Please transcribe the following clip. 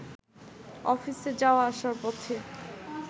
অফিসে যাওয়া-আসার পথে